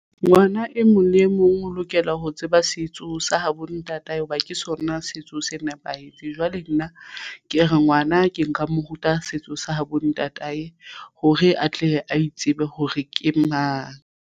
Ngwana e mong le e mong o lokela ho tseba setso sa habo ntatae hoba ke sona setso se nepahetseng. Jwale nna ke re ngwana ke nka mo ruta setso sa hore atle a itsebe hore ke mang.